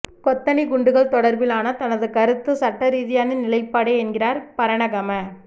கொத்தணிக் குண்டுகள் தொடர்பிலான தனது கருத்து சட்டரீதியான நிலைப்பாடே என்கிறார் பரணகம